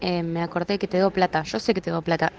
что с этого